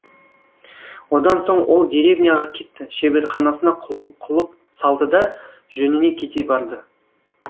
одан соң ол деревняға кетті шеберханасына құлып салды да жөніне кете барды